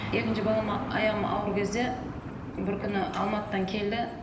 екінші балама аяғым ауыр кезде бір күні алматыдан келді